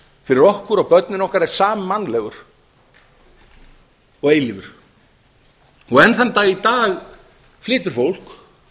fyrir okkur og börnin okkar er sammannlegur og eilífur og enn þann dag í dag flytur fólk